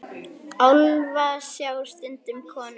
Álfa sjá stundum konur.